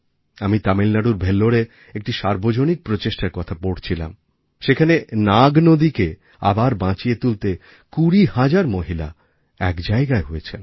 আমি তামিলনাড়ুর ভেল্লোরে একটি সার্বজনিক প্রচেষ্টার কথা পড়ছিলাম সেখানে নাগনদীকে আবার বাঁচিয়ে তুলতে ২০ হাজার মহিলা এক জায়গায় হয়েছেন